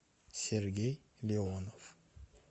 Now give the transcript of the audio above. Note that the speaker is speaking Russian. сергей леонов